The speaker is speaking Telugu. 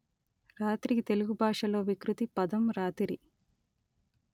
రాత్రికి తెలుగు భాషలో వికృతి పదం రాతిరి